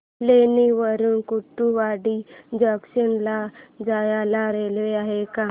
लोणी वरून कुर्डुवाडी जंक्शन ला जायला रेल्वे आहे का